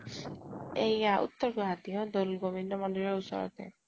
এইয়া উত্তৰ গুৱাহাতীৰে, দৌল গোবিন্দ মন্দিৰ ৰ ওচৰতে